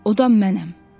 O da mənəm.”